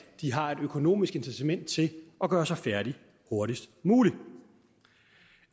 de har et økonomisk incitament til at gøre sig færdig hurtigst muligt